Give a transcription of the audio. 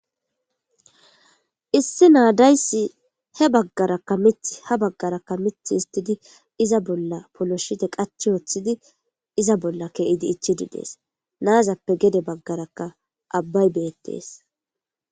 Issi naa dayssi ha baggaraka miththi ha baggaraka miththa histidi bolla polishite qachchi woththidi iza bolla kezi ichchidi dees. Naazape geda baggaraka abbay beetes.